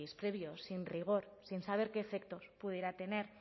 previo sin rigor sin saber qué efectos pudiera tener